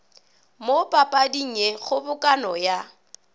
mo papading ye kgobokano ya